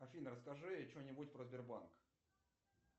афина расскажи что нибудь про сбербанк